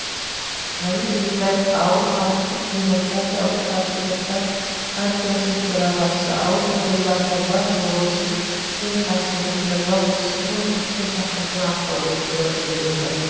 әли бектаев ауыл халықтық демократиялық патриоттар партиясының төрағасы ауыл тұрғындарының бар болмысы мен қасиетін жырлау осы конкурстың тақырыбына арқау болып келеді